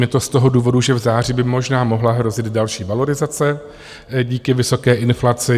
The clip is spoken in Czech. Je to z toho důvodu, že v září by možná mohla hrozit další valorizace díky vysoké inflaci.